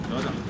Düzəldi.